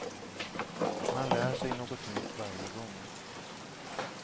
Man lär sig något nytt varje gång.